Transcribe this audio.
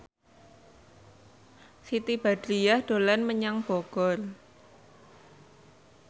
Siti Badriah dolan menyang Bogor